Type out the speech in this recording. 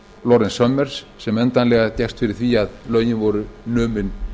clintons lawrence summers sem endanlega gekkst fyrir því að lögin voru numin